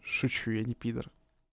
шучу я не пидор